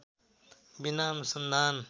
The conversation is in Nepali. बिना अनुसन्धान